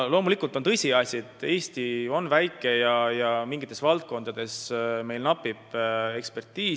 Loomulikult on tõsiasi, et Eesti on väike ja mingites valdkondades meil napib eksperte.